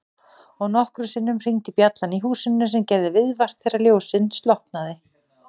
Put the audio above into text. Og nokkrum sinnum hringdi bjallan í húsinu sem gerði viðvart þegar ljósið slokknaði.